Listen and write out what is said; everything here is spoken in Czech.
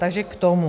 Takže k tomu.